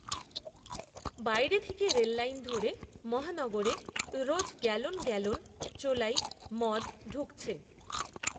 বাইরে থেকে রেললাইন ধরে মহানগরে, রোজ, গ্যালন গ্যালন চোলাই মদ ঢুকছে